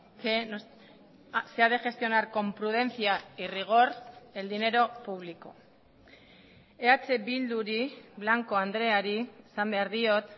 que se ha de gestionar con prudencia y rigor el dinero público eh bilduri blanco andreari esan behar diot